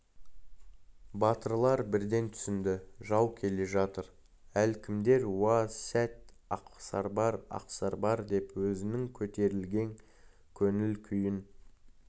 батырлар бірден түсінді жау келе жатыр әлдекімдер уа сәт ақсарбас ақсарбас деп өзінің көтерілген көңіл күйін